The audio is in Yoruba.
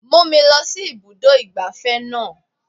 Mú mi lọ sí ibùdó ìgbafẹ́ náà.